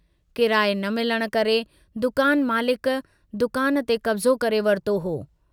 किराए न मिलण करे दुकान मालिक, दुकान ते कब्जो करे वरतो हो।